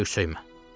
Söyür-söymə.